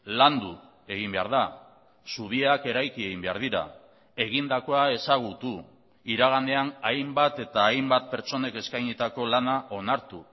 landu egin behar da zubiak eraiki egin behar dira egindakoa ezagutu iraganean hainbat eta hainbat pertsonek eskainitako lana onartu